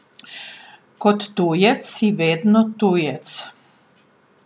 Kot tujec si vedno tujec.